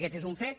aquest és un fet